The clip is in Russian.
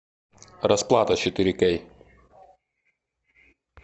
расплата четыре кей